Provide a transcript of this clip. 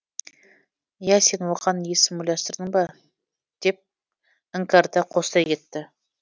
иә сен оған есім ойластырдың ба деп іңкәрда қостай кетті